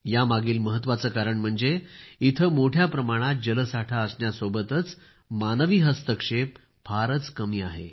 यामागील महत्त्वाचे कारण म्हणजे येथे मोठ्या प्रमाणात जलसाठा असण्या सोबतच मानवी हस्तक्षेप फारच कमी आहे